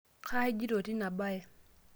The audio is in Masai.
kaa ijioto teina baye?